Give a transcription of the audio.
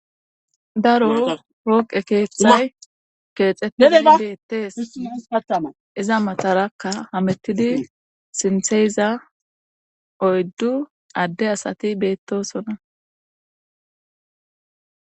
Daro pooqe keeththay keexetishe iza matarakka hamettidi sintheyiza oyddu adde asati beettosona.